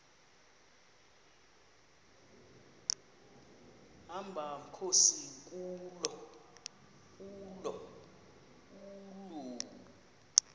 hamba mkhozi kuloo